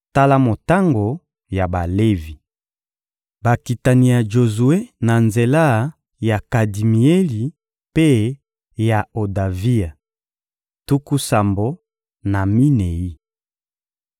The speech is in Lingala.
Tala motango ya Balevi: Bakitani ya Jozue na nzela ya Kadimieli mpe ya Odavia: tuku sambo na minei.